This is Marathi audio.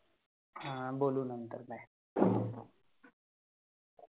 ह अ बोलु नंतर Bye Bye.